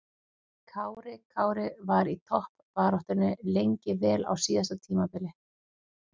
Kári Kári var í toppbaráttunni lengi vel á síðasta tímabili.